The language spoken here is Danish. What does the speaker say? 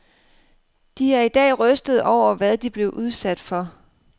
De er i dag rystede over, hvad de blev udsat for.